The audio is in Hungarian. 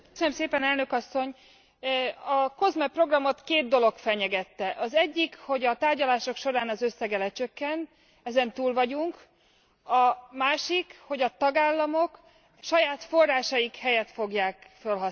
A COSME programot két dolog fenyegette. Az egyik, hogy a tárgyalások során az összege lecsökkent, ezen túl vagyunk, a másik, hogy a tagállamok saját forrásaik helyett fogják fölhasználni.